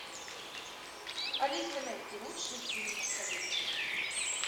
алиса найди лучшие фильмы советские